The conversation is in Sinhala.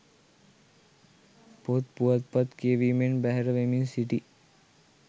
පොත් පුවත්පත් කියවීමෙන් බැහැර වෙමින් සිටී